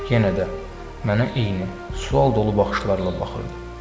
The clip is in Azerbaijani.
Yenə də mənə eyni, sual dolu baxışlarla baxırdı.